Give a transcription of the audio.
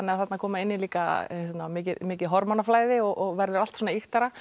þarna koma inn í líka mikið mikið hormónaflæði og verður allt svona ýktara